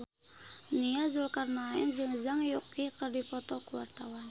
Nia Zulkarnaen jeung Zhang Yuqi keur dipoto ku wartawan